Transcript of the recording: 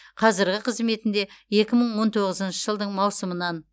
қазірғі қызметінде екі мың он тоғызыншы жылдың маусымынан